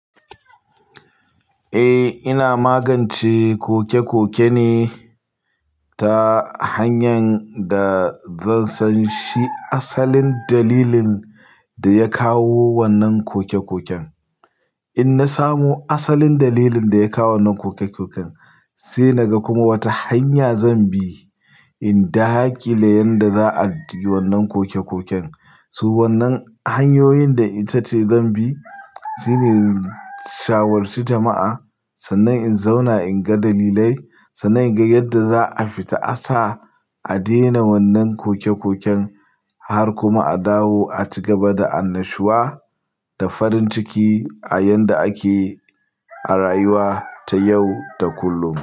Eh, ina magance koke-koke ne ta hanyan da zan san shi asalin dalilin da ya kawo wannan koke-koken. In na samu asalin dalilin da ya kawo wannan koke-koken, sai naga kuma wata hanya zan bi in daƙile yanda za a ji wannan koke-koken. So wannan hanyoyin da ita ce zan bi, sune. Shawarci jama'a, sannan in zauna in ga dalilai, sannan in ga yadda za a fita. A sa a daina wannan koke-koken har kuma a dawo a ci gaba da annashuwa da farin ciki a yanda ake. A rayuwa ta yau da kullum.